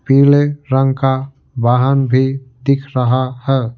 पीले रंग का वाहन भी दिख रहा है।